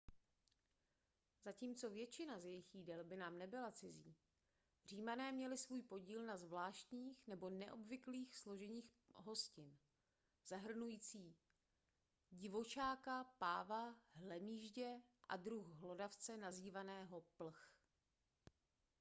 zatímco většina z jejich jídel by nám nebyla cizí římané měli svůj podíl na zvláštních nebo neobvyklých složeních hostin zahrnujíc divočáka páva hlemýždě a druh hlodavce nazývaného plch